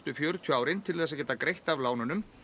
fjörutíu árin til þess að geta greitt af lánunum